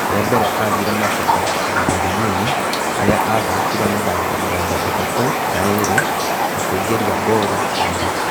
Rĩambere athiire Macheta ihinda rĩnini harĩa aathakire mĩthako mĩrongo-ĩtatũ na ĩrĩ na kũingĩrĩa ngooru kenda.